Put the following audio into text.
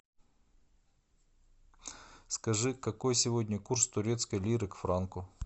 скажи какой сегодня курс турецкой лиры к франку